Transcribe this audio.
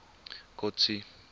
kotsi